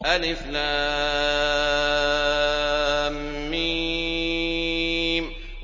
الم